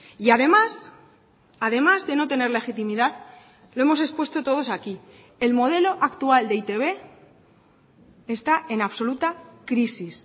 y además además de no tener legitimidad lo hemos expuesto todos aquí el modelo actual de e i te be está en absoluta crisis